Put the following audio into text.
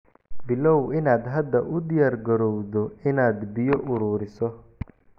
Bilow inaad hadda u diyaargarowdo inaad biyo ururiso.